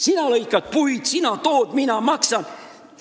Sina lõikad puid, sina tood, mina maksan.